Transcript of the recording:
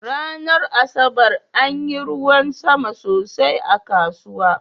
Ranar Asabar anyi ruwan sama sosai a kasuwa.